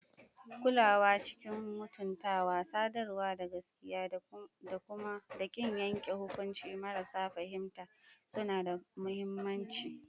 Kulawa cikin mutuntawa, sadarwa ta gaskiya, da ƙin yanke hukunci marasa fahimta suna da mahimmanci.